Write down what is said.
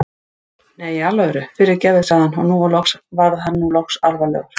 Nei, í alvöru, fyrirgefðu sagði hann og var nú loks orðinn alvarlegur.